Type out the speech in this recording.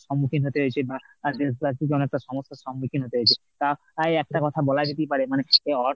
সম্মুখীন হতে হয়েছে বা সমস্যার সম্মুখীন হতে হয়েছে। তাই একটা কথা বলা যেতেই পারে মানে এই অর্থ